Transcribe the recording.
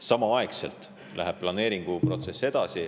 Samaaegselt läheb planeeringuprotsess edasi.